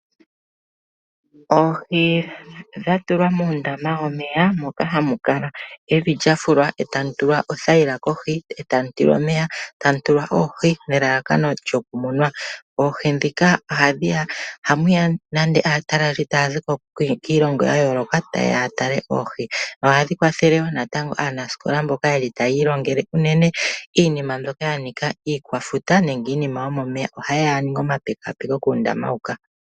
Oohi dha tulwa muundama womeya, moka hamu kala evi lya fulwa e tamu tulwa othayila kohi, eta mu tulwa omeya, tamu tulwa oohi nelalakano lyokumunwa. Oohi ndhika ohamu ya nande aataleli taa zi kiilonga ya yooloka ta ye ya ya tale oohi. Ohadhi kwathele wo natango aanasikola mbono taya ilongele unene iinima mbyoka ya nika iikwafuta nenge iinima yomeya, oha yeya ya ninge omapekapeko kuundama huka.